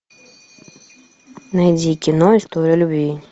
найди кино история любви